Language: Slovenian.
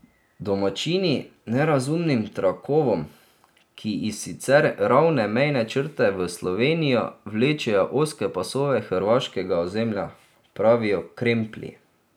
Domačini nerazumnim trakovom, ki iz sicer ravne mejne črte v Slovenijo vlečejo ozke pasove hrvaškega ozemlja, pravijo kremplji.